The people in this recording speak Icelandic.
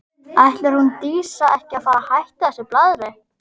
Ætlar hún Dísa ekki að fara að hætta þessu blaðri?